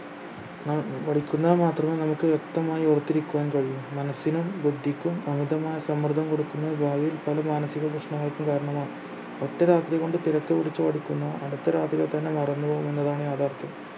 ന്ന പഠിക്കുന്നവ മാത്രമേ നമുക്ക് വ്യക്തമായി ഓർത്തിരിക്കുവാൻ കഴിയു മനസ്സിനും ബുദ്ധിക്കും അമിതമായ സമ്മർദ്ദം കൊടുക്കുകന്നത് ഭാവിയിൽ പല മാനസിക പ്രശ്നങ്ങൾക്കും കാരണമാകും ഒറ്റ രാത്രി കൊണ്ട് തിരക്ക് പിടിച്ച് പഠിക്കുന്ന അടുത്ത രാത്രിയിൽ തന്നെ മറന്നു പോകുന്നതാണ് യാഥാർത്ഥ്യം